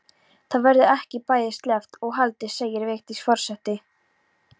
Það verður ekki bæði sleppt og haldið segir Vigdís forseti.